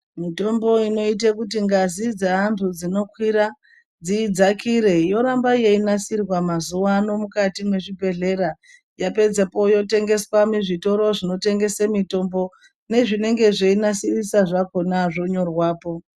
Mitombo inoite kuti ngazi dzeanthu dzinokwira dzidzakire yoramba yeinasirwa mazuwano mukati mezvibhehlera yapedzepo yotengeswe muzvitoro zvinotengese mitombo, nezvinenge zveinasirisa zvakona zvonyorwa po.